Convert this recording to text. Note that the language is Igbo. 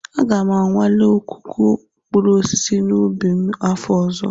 Aga m anwale ọkụkụ mkpụrụ osisi n'ubi m afọ ọzọ